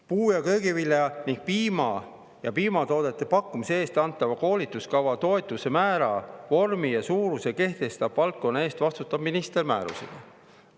Puu‑ ja köögivilja ning piima ja piimatoodete pakkumise eest antava koolikava toetuse määra, vormi ja suuruse kehtestab valdkonna eest vastutav minister määrusega.